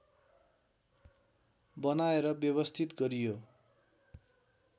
बनाएर व्यवस्थित गरियो